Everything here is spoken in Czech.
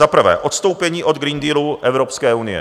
Za prvé - odstoupení od Green Dealu Evropské unie.